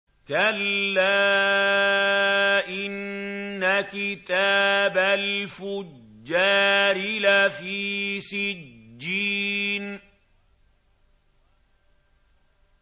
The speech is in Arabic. كَلَّا إِنَّ كِتَابَ الْفُجَّارِ لَفِي سِجِّينٍ